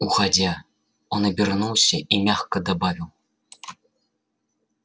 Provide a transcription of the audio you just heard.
уходя он обернулся и мягко добавил